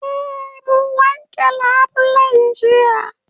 Eh mun wanke labulen jiya